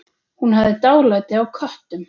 Hún hafði dálæti á köttum.